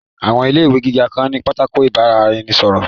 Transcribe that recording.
Àwọn ilé ìwé gíga kan ní pátákó ìbára-ẹni-sọ̀rọ̀